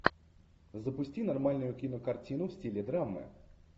запусти нормальную кинокартину в стиле драмы